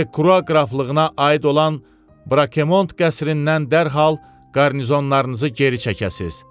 De Kruarqraflığına aid olan Brakemont qəsrindən dərhal qarnizonlarınızı geri çəkəsiz.